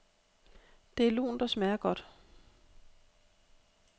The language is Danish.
Det er lunt og smager godt.